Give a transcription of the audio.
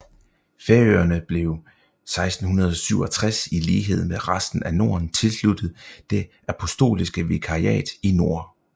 Færøerne blev 1667 i lighed med resten af Norden tilsluttet Det apostoliske vikariat i nord